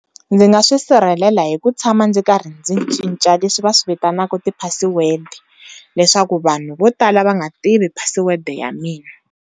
Ndzi nga swi sirhelela hi ku tshama ndzi karhi ndzi cinca leswi va swi vitanaka ti-password leswaku vanhu vo tala va nga tivi password ya mina.